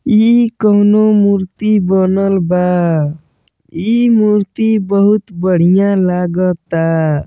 इ कोनो मूर्ति बनल बा। इ मूर्ति बहुत बढियां लगाता।